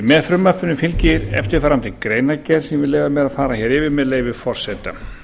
með frumvarpinu fylgir eftirfarandi greinargerð sem ég leyfi mér að fara yfir með leyfi forseta